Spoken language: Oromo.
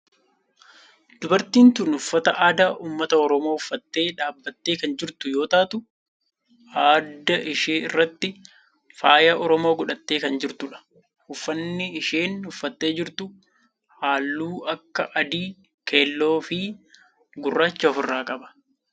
Dubartiin tun uffata aadaa ummata oromoo uffattee dhaabbattee kan jirtu yoo ta'u adda ishee irratti faaya oromoo godhattee kan jirtudha. uffanni isheen uffattee jirtu halluu akka adii, keelloo fi gurraachaa of irraa qaba.